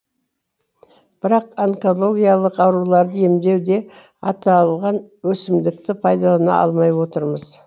бірақ онкологиялық ауруларды емдеуде аталған өсімдікті пайдалана алмай отырмыз